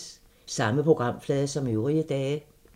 Samme programflade som øvrige dage